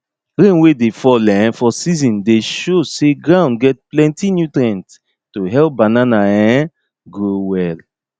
rain wey dey fall um for season dey show say ground get plenty nutrients to help banana um grow well